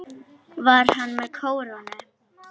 Var hann með kórónu?